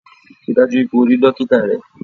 Rí i dájú o pé o rí dókítá rẹ!